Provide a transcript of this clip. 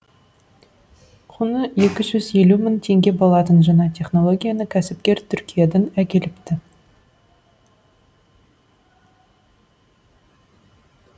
құны екі жүз елу мың теңге болатын жаңа технологияны кәсіпкер түркиядан әкеліпті